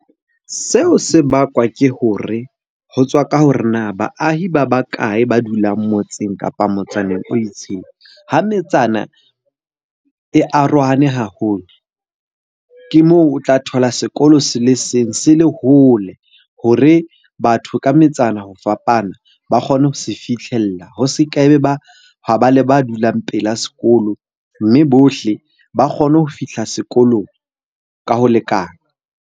Seo se bakwa ke hore ho tswa ka hore na baahi ba ba kae ba dulang motseng, kapa motsaneng o itseng. Ha metsana e arohane haholo, ke moo o tla thola sekolo se le seng se le hole hore batho ka metsana ho fapana ba kgone ho se fihlella. Ho se ke be ba ho ba le ba dulang pela sekolo, mme bohle ba kgone ho fihla sekolong ka ho lekana.